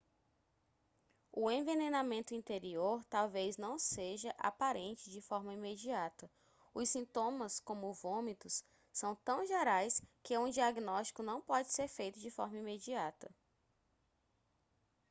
o envenenamento interior talvez não seja aparente de forma imediata os sintomas como vômitos são tão gerais que um diagnóstico não pode ser feito de forma imediata